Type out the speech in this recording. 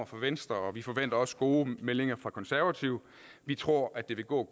fra venstre og vi forventer også gode meldinger fra konservative vi tror at det vil gå